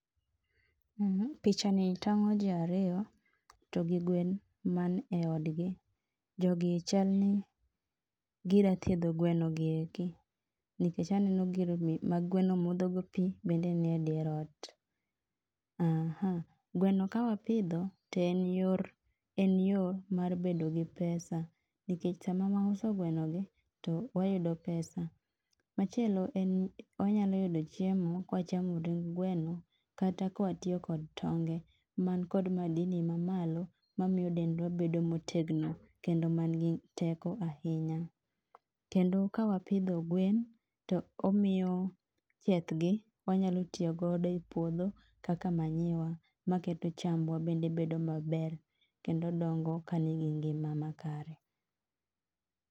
um Picha ni tang'o ji ariyo, to gigwen man e od gi. Jogie chalni gida thiedho gweno gi eki. Nikech aneno gir ma gweno modho go pii bende nie dier ot um gweno ka wapidho, to en yor en yo mar bedo gi pesa nikech sama wauso gweno gi to wayudo pesa. Machielo en wanyalo yudo chiemo kwachamo ring gweno kata kwatiyo kod tonge man kod madini ma malo ma miyo dendwa bedo motegno kendo man gi teko ahinya. Kendo kawapidho gwen, to omiyo chieth gi wanyalo tiyo godo e puodho kaka manyiwa maketo chambwa bedo maber kendo dongo ka nigi ngima makare